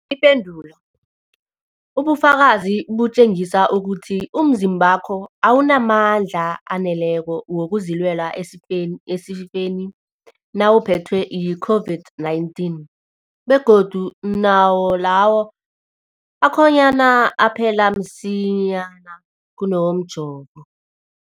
Ipendulo, ubufakazi butjengisa ukuthi umzimbakho awunamandla aneleko wokuzilwela esifeni nawuphethwe yi-COVID-19, begodu nawo lawo akhonyana aphela msinyana kunawomjovo.